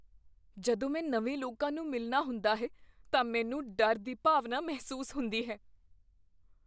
ਜਦੋਂ ਮੈਂ ਨਵੇਂ ਲੋਕਾਂ ਨੂੰ ਮਿਲਣਾ ਹੁੰਦਾ ਹੈ ਤਾਂ ਮੈਨੂੰ ਡਰ ਦੀ ਭਾਵਨਾ ਮਹਿਸੂਸ ਹੁੰਦੀ ਹੈ।